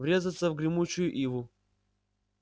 врезаться в гремучую иву